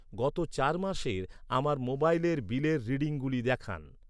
গত চার মাসের আমার মোবাইলের বিলের রিডিংগুলি দেখান।